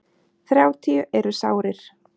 Þrjátíu eru sárir.